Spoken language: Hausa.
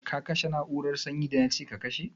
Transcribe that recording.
Ka kashe na'urar sanyi da na ce ka kashe?